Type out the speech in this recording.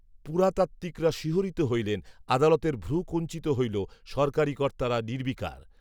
পুরাতাত্ত্বিকরা শিহরিত হইলেন, আদালতের ভ্রূ কূঞ্চিত হইল, সরকারি কর্তারা নির্বিকার